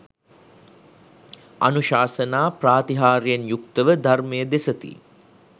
අනුශාසනා ප්‍රාතිහාර්යයෙන් යුක්ත ව ධර්මය දෙසති